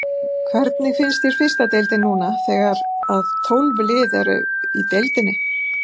Hvernig finnst þér fyrsta deildin núna þegar að tólf lið eru í deildinni?